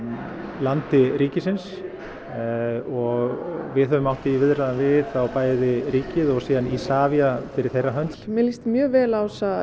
landi ríkisins og við höfum átt í viðræðum við bæði ríkið og Isavia fyrir þeirra hönd mér líst mjög vel á þessa